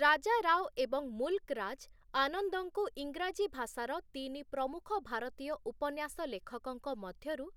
ରାଜା ରାଓ ଏବଂ ମୁଲ୍‌କ ରାଜ, ଆନନ୍ଦଙ୍କୁ ଇଂରାଜୀ ଭାଷାର ତିନି ପ୍ରମୁଖ ଭାରତୀୟ ଉପନ୍ୟାସ ଲେଖକଙ୍କ ମଧ୍ୟରୁ